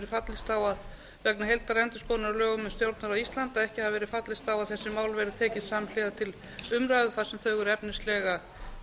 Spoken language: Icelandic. heildarendurskoðunar á lögum um stjórnarráð íslands að ekki hafi verið fallist á að þessi mál verði tekin samhliða til umræðu þar sem þau eru efnislega